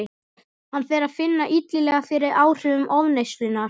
Hann fer að finna illilega fyrir áhrifum ofneyslunnar.